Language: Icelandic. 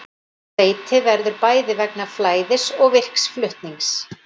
Seyti verður bæði vegna flæðis og virks flutnings.